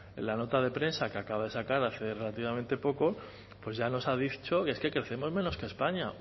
la nota de prensa que acaba de sacar hace relativamente poco ya nos ha dicho que es que crecemos menos que españa